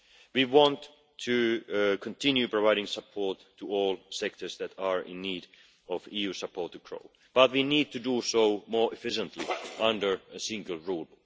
We want to continue providing support to all sectors that are in need of EU support, but we need to do so more efficiently under a single rule.